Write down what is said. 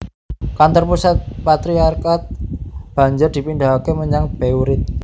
Kantor pusat patriarkat banjur dipindhahaké menyang Beirut